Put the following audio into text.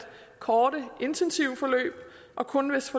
korte intensive forløb og kun hvis